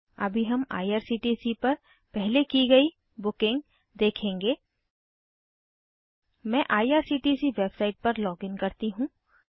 अभी हम आईआरसीटीसी पर पहले की गयी बुकिंग देखेंगे मैं आईआरसीटीसी वेबसाइट पर लॉगिन करती हूँ